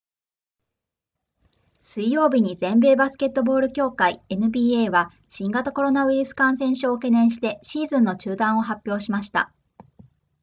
水曜日に全米バスケットボール協会 nba は新型コロナウイルス感染症を懸念してシーズンの中断を発表しました